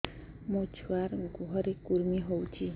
ମୋ ଛୁଆର୍ ଗୁହରେ କୁର୍ମି ହଉଚି